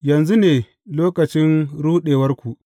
Yanzu ne lokacin ruɗewarku.